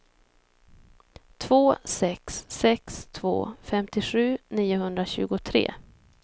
två sex sex två femtiosju niohundratjugotre